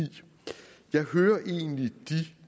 jeg hører egentlig de